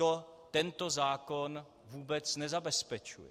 To tento zákon vůbec nezabezpečuje.